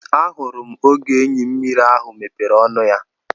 Ahụrụ oge enyi mmiri ahụ mepere ọnụ ya.